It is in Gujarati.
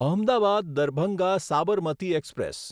અહમદાબાદ દરભંગા સાબરમતી એક્સપ્રેસ